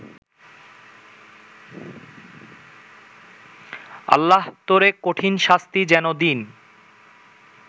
আল্লাহ তোরে কঠিন শাস্তি যেন দিন